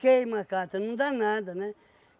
Queima a cata, não dá nada, né?